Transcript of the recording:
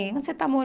Onde você está